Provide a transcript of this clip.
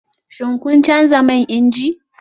Shin kun canza man inji?